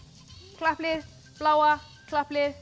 klapplið bláa klapplið